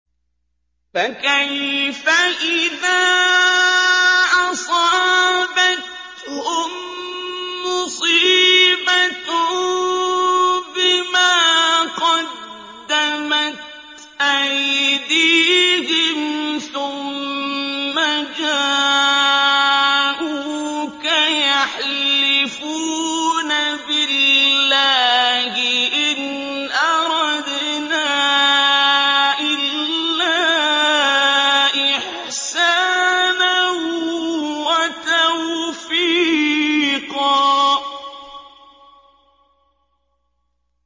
فَكَيْفَ إِذَا أَصَابَتْهُم مُّصِيبَةٌ بِمَا قَدَّمَتْ أَيْدِيهِمْ ثُمَّ جَاءُوكَ يَحْلِفُونَ بِاللَّهِ إِنْ أَرَدْنَا إِلَّا إِحْسَانًا وَتَوْفِيقًا